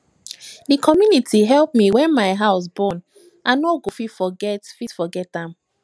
di community help me wen my house burn i no go fit forget fit forget am